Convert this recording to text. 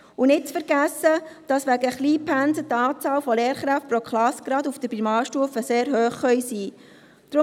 Und nicht zu vergessen ist, dass die Anzahl von Lehrkräften pro Klasse wegen Kleinpensen gerade auf der Primarstufe sehr hoch sein kann.